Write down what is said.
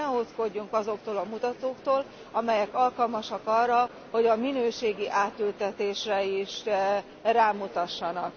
Ezért ne ódzkodjunk azoktól a mutatóktól, amelyek alkalmasak arra, hogy a minőségi átültetésre is rámutassanak.